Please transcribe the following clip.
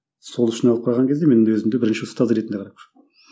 сол үшін алып қараған кезде мен өзімді бірінші ұстаз ретінде